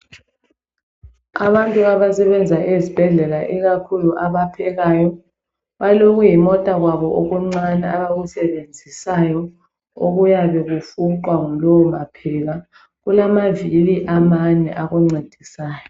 Abantu abasebenza ezibhedlela ikakhulu abaphekayo, balokuyimota kwabo okuncane abakusebenzisayo okuyabe kufuqwa ngulowo mapheka. Kulamavili amane akuncedisayo.